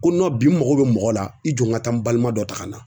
Ko Nɔn bi n mago be mɔgɔ la i jɔ n ka taa n balima dɔ ta ka na